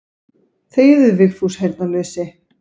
Þegiðu Vigfús heyrnarlausi.